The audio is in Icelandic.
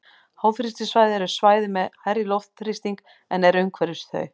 Háþrýstisvæði eru svæði með hærri loftþrýsting en er umhverfis þau.